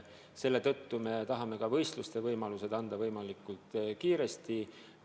Selle tõttu me tahame ka võistluste korraldamise võimaluse anda võimalikult kiiresti.